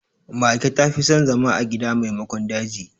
Mage ta fi son zama a gida maimakon daji.